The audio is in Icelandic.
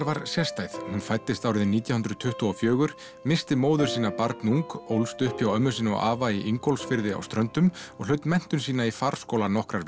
var sérstæð hún fæddist árið nítján hundruð tuttugu og fjögur missti móður sína barnung og ólst upp hjá ömmu sinni og afa í Ingólfsfirði á ströndum og hlaut menntun sína í farskóla nokkrar